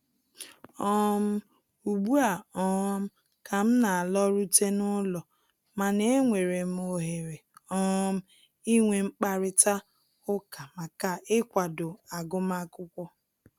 um Ugbua um ka m na-alọrute n'ụlọ, mana e nwere m ohere um inwe mkparịta ụka maka ịkwado agụmakwụkwọ